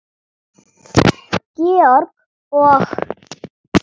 Georg og